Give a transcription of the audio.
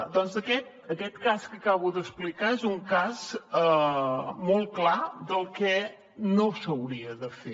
doncs aquest cas que acabo d’explicar és un cas molt clar del que no s’hauria de fer